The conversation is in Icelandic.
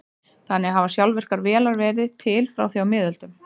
Þannig hafa sjálfvirkar vélar verið til frá því á miðöldum.